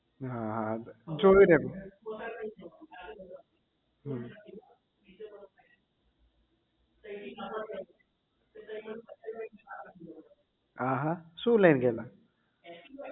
હા જોયું ને એમ હમ આહા શું લઈને ગયેલા